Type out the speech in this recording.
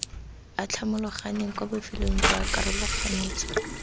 atlhamologaneng kwa bofelong ba karologanyetso